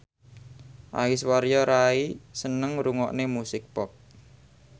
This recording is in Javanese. Aishwarya Rai seneng ngrungokne musik pop